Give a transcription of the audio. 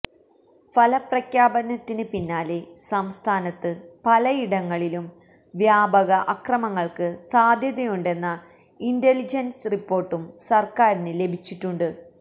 ഫലപ്രഖ്യാപനത്തിന് പിന്നാലെ സംസ്ഥാനത്ത് പലയിടങ്ങളിലും വ്യാപക അക്രമങ്ങള്ക്ക് സാധ്യതയുണ്ടെന്ന ഇന്റലിജന്റ്സ് റിപ്പോർട്ടും സർക്കാരിന് ലഭിച്ചിട്ടുണ്ട്